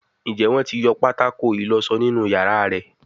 Njé Wón tí yọ pátákó ìlósó nínú iyàrá rẹ?